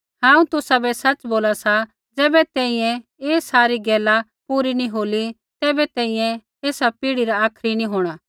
हांऊँ तुसाबै सच़ बोला सा ज़ैबै तैंईंयैं ऐ सारी गैला पूरी नी होली तैबै तैंईंयैं एसा पीढ़ी रा आखरी नी होंणा